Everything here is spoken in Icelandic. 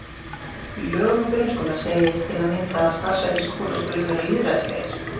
Í lögum um grunnskóla segir til að mynda að starfshættir skóla skuli vera lýðræðislegir.